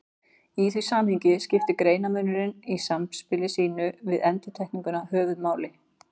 Í því samhengi skiptir greinarmunurinn í samspili sínu við endurtekninguna höfuðmáli.